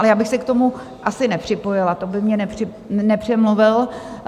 Ale já bych se k tomu asi nepřipojila, to by mě nepřemluvil.